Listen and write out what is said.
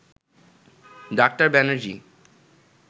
doctor Banerjee